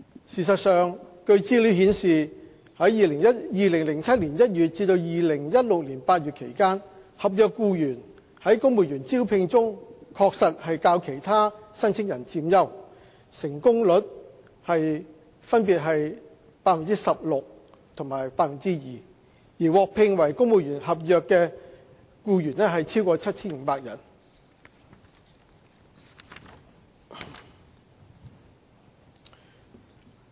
事實上據資料顯示，在2007年1月至2016年8月期間，合約僱員在公務員招聘中確實較其他申請人佔優，成功率分別約為 16% 及 2%， 而獲聘為公務員的合約僱員超過 7,500 人。